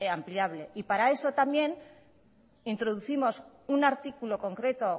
ampliable y para eso también introducimos un artículo concreto